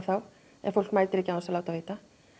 ef fólk mætir ekki án þess að láta vita